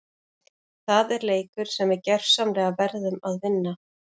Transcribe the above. Það er leikur sem við gjörsamlega verðum að vinna!